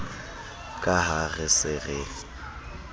ka ha re se re